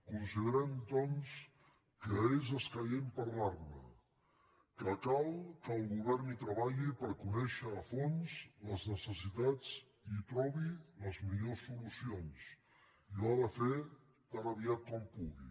considerem doncs que és escaient parlar·ne que cal que el govern hi treballi per conèixer a fons les neces·sitats i hi trobi les millors solucions i ho ha de fer tan aviat com pugui